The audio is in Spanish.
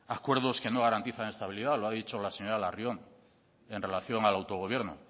acuerdos que no garantizan estabilidad lo ha dicho la señora larrion en relación al autogobierno